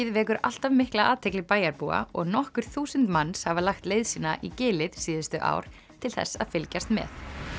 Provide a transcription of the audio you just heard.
vekur alltaf mikla athygli bæjarbúa og nokkur þúsund manns hafa lagt leið sína í gilið síðustu ár til þess að fylgjast með